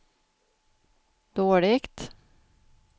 dåligt